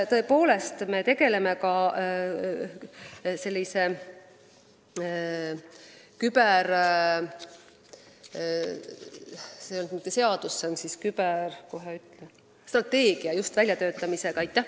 Tõepoolest, me tegeleme ka küberjulgeoleku strateegia väljatöötamisega.